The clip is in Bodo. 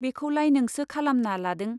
बेखौलाय नोंसो खालामना लादों।